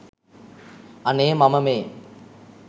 අනේ මම මේ